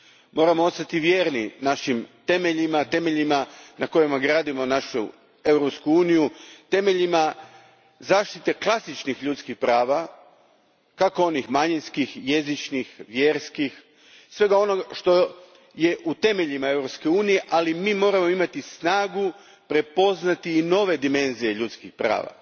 Moramo ostati vjerni našim temeljima, temeljima na kojima gradimo našu Europsku uniju, temeljima zaštite klasičnih ljudskih prava, onih manjinskih, jezičnih, vjerskih, svega onog što je u temeljima Europske unije, ali mi moramo imati i snagu prepoznati nove dimenzije ljudskih prava.